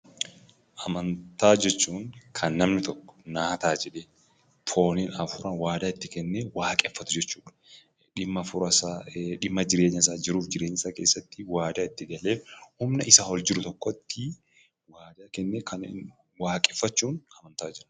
Amantaa jechuun kan namni tokko naa ta'aa jedhee fooniin, hafuuraan waadaa itti kennee waaqeffatu jechuu dha. Dhimma hafuura isaa, dhimma jireenya isaa keessatti waadaa itti galee humna isaa ol jiru tokkotti waadaa kennee Kan waaqeffachuun amantaa jechuu dha.